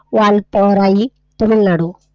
वाळतोह्राही Tamil Nadu.